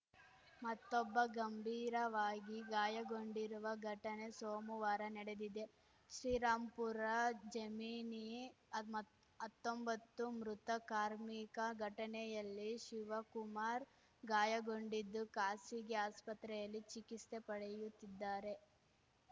ಮತ್ತೊಬ್ಬ ಗಂಭೀರವಾಗಿ ಗಾಯಗೊಂಡಿರುವ ಘಟನೆ ಸೋಮುವಾರ ನಡೆದಿದೆ ಶ್ರೀರಾಂಪುರ ಜೆಮಿನಿ ಅತ್ಮೊ ಹತ್ತೊಂಬತ್ತು ಮೃತ ಕಾರ್ಮಿಕ ಘಟನೆಯಲ್ಲಿ ಶಿವಕುಮಾರ್‌ ಗಾಯಗೊಂಡಿದ್ದು ಖಾಸಗಿ ಆಸ್ಪತ್ರೆಯಲ್ಲಿ ಚಿಕಿಸ್ತೆ ಪಡೆಯುತ್ತಿದ್ದಾರೆ